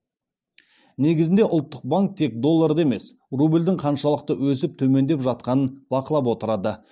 негізінде ұлттық банк тек долларды емес рубльдің қаншалықты өсіп төмендеп жатқанын бақылап отырады